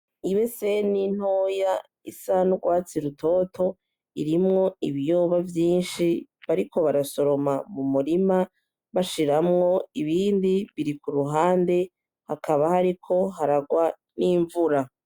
Ibe se nintoya isandwatsi rutoto irimwo ibiyoba vyinshi bariko barasoroma mu murima bashiramwo ibindi biri ku ruhande hakaba hariko haragwa n'imvura.